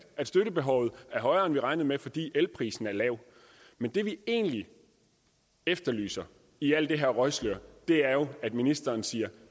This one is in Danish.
at støttebehovet er højere end vi regnede med fordi elprisen er lav men det vi egentlig efterlyser i alt det her røgslør er jo at ministeren siger